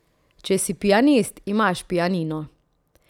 Če si pianist, imaš pianino.